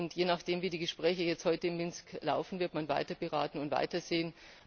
Je nachdem, wie die Gespräche heute in Minsk laufen, wird man weiter beraten und weitersehen.